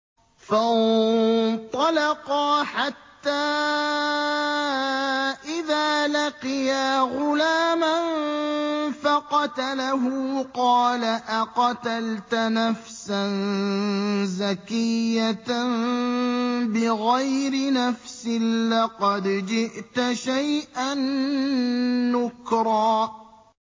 فَانطَلَقَا حَتَّىٰ إِذَا لَقِيَا غُلَامًا فَقَتَلَهُ قَالَ أَقَتَلْتَ نَفْسًا زَكِيَّةً بِغَيْرِ نَفْسٍ لَّقَدْ جِئْتَ شَيْئًا نُّكْرًا